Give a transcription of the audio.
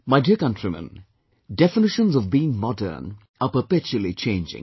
My dear countrymen, definitions of being modern are perpetually changing